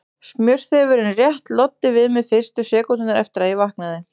Smjörþefurinn rétt loddi við mig fyrstu sekúndurnar eftir að ég vaknaði.